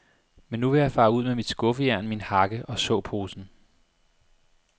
Men nu vil jeg fare ud med mit skuffejern, min hakke og såposen.